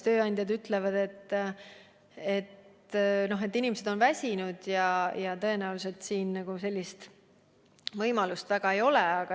Tööandjad aga ütlevad, et inimesed on väsinud ja sellist võimalust väga ei ole.